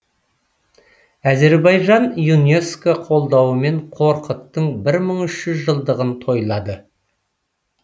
әзербайжан юнеско қолдауымен қорқыттың бір мың үш жүз жылдығын тойлады